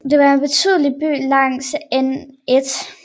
Den er en betydelig by langs N1